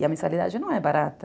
E a mensalidade não é barata.